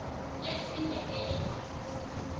lesindebele